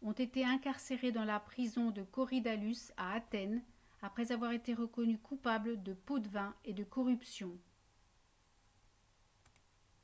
ont été incarcérés dans la prison de korydallus à athènes après avoir été reconnus coupables de pots-de-vin et de corruption